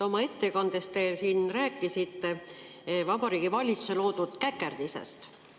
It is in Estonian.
Oma ettekandes te rääkisite Vabariigi Valitsuse loodud käkerdisest.